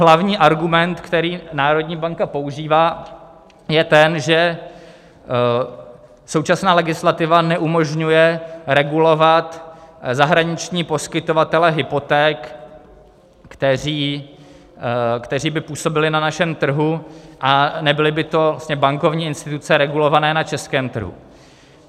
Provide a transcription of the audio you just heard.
Hlavní argument, který národní banka používá, je ten, že současná legislativa neumožňuje regulovat zahraniční poskytovatele hypoték, kteří by působili na našem trhu a nebyly by to bankovní instituce regulované na českém trhu.